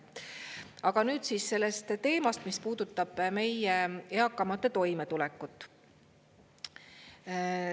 Aga nüüd sellest teemast, mis puudutab meie eakamate toimetulekut.